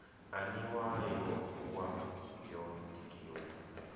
aniwa yo bua yo tikiwa